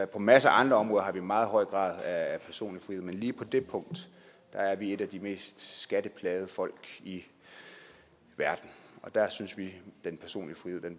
på en masse andre områder har vi en meget høj grad af personlig frihed men lige på det punkt er vi et af de mest skatteplagede folk i verden og der synes vi den personlige frihed